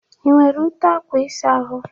Ị nwere ute akwa ịsa ahụ?